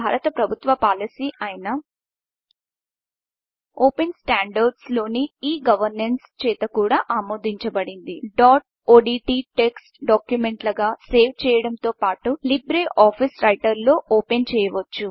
ఇది భారత ప్రభుత్వ పాలసీ అయిన ఓపెన్స్టాండర్డ్స్ లోని e గవర్నెన్స్ చేత కూడా ఆమోదించబడింది డాట్ ఓడ్ట్ టెక్ట్స్ డాక్యుమెంట్లగా సేవ్ చేయడంతో పాటు లీబ్రే ఆఫీస్ రైటర్లో ఓపెన్చేయవచ్చు